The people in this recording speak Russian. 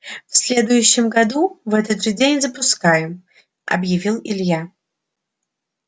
в следующем году в этот же день запускаем объявил илья